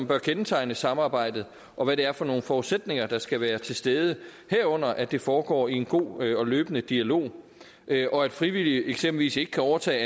bør kendetegne samarbejdet og hvad det er for nogle forudsætninger der skal være til stede herunder at det foregår i en god og løbende dialog og at frivillige eksempelvis ikke kan overtage